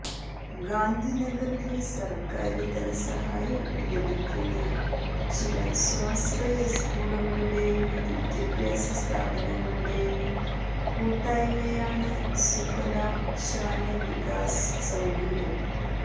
ഗാന്ധിനഗറില് സര്ക്കാര് ധനസഹായം ലഭിക്കുന്ന ചില സ്വാശ്രയ സ്കൂളുകളുടെയും വിദ്യാഭ്യാസ സ്ഥാപനങ്ങളുടെയും കൂട്ടായ്മയാണ് സുഫാലം ശാല വികാസ് സങ്കുല്